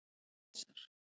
Sesar